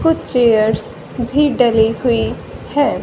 कुछ चेयर्स भी डले हुई है।